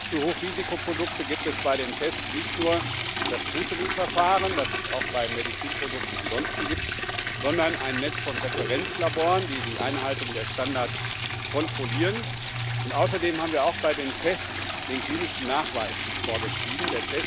Für Hochrisikoprodukte gibt es bei den Tests nicht nur das Scrutiny Verfahren, das es auch bei Medizinprodukten ansonsten gibt, sondern ein Netz von Referenzlaboren, die die Einhaltung der Standards kontrollieren, und außerdem haben wir auch bei den Tests den klinischen Nachweis vorgeschrieben.